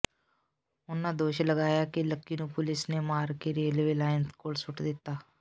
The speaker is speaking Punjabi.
ਉਨ੍ਹਾਂ ਦੋਸ਼ ਲਗਾਇਆ ਕਿ ਲੱਕੀ ਨੂੰ ਪੁਲੀਸ ਨੇ ਮਾਰ ਕੇ ਰੇਲਵੇ ਲਾਈਨ ਕੋਲ ਸੁੱਟ ਦਿੱਤਾ